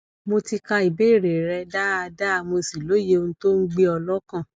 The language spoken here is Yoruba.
mo ti ka ìbéèrè rẹ dáadáa mo sì lóye ohun tó ń gbé ọ lọkàn